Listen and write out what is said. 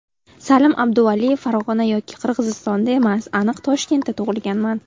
Salim Abduvaliyev: Farg‘ona yoki Qirg‘izistonda emas, aniq Toshkentda tug‘ilganman !